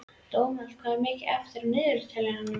Dómald, hvað er mikið eftir af niðurteljaranum?